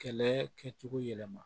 Kɛlɛ kɛcogo yɛlɛma